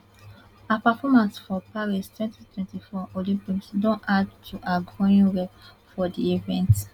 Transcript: her performance for paris wenty twenty four olympics don add to her growing rep for di events